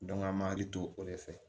an m'an hakili to o de fɛ